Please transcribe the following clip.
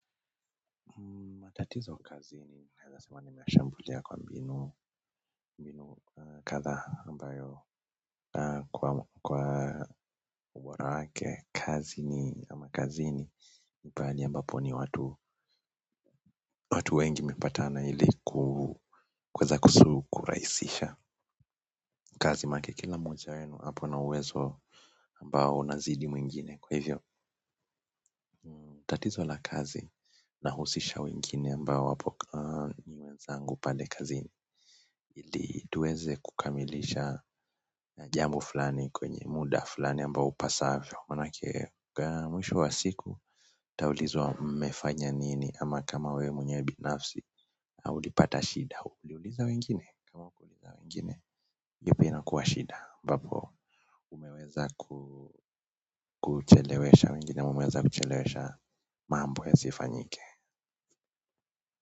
Matatizo kazini naeza sema ninashambulia kwa mbinu kadhaa ambayo kwa ubora wake kazi ni ama kazini ni pahali ambapo ni watu watu wengi wamepatana ili kuweza kurahisisha kazi manake kila moja wenu apo na uwezo ambao unazidi mwingine kwa hivyo tatizo la kazi nahusisha wengine ambao wapo ni wezangu pale kazini ili tuweze kukamilisha na jambo fulani kwenye muda fulani ambao upasavyo manake mwisho wa siku ntaulizwa mmefanya nini ama kama wewe mwenyewe binafsi au ulipata shida uliuliza wengine, kama hukuuliza wengine, iyo pia inakuwa shida ambapo umeweza kuchelewesha wengine, ama umeweza kuchelewesha mambo yasifanyike.